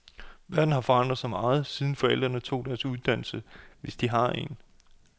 Verden har forandret sig meget, siden forældrene tog deres uddannelse, hvis de har en.